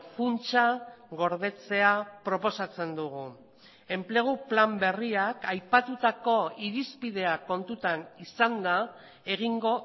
funtsa gordetzea proposatzen dugu enplegu plan berriak aipatutako irizpideak kontutan izanda egingo